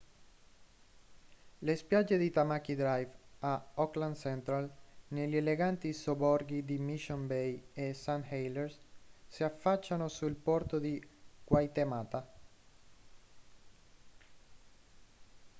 le spiagge di tamaki drive a auckland central negli eleganti sobborghi di mission bay e st heliers si affacciano sul porto di waitemata